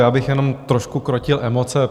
Já bych jenom trošku krotil emoce.